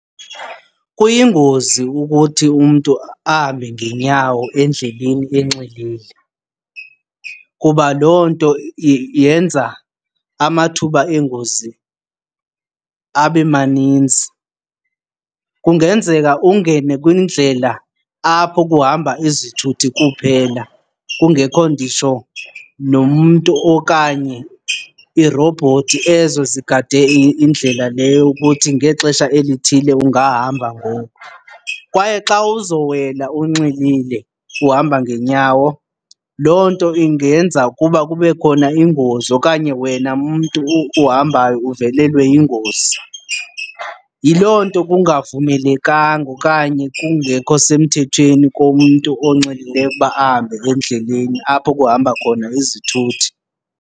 Kuyingozi ukuthi umntu ahambe ngenyawo endleleni enxilile kuba loo nto yenza amathuba eengozi abe maninzi. Kungenzeka ungene kwindlela apho kuhamba izithuthi kuphela kungekho nditsho nomntu okanye iirobhothi ezo zigade indlela leyo ukuthi ngexesha elithile ungahamba ngoko. Kwaye xa uzowela unxilile uhamba ngenyawo loo nto ingenza ukuba kube khona ingozi okanye wena mntu uhambayo uvelelwe yingozi. Yiloo nto kungavumelekanga okanye kungekho semthethweni komntu onxilileyo ukuba ahambe endleleni apho kuhamba khona izithuthi.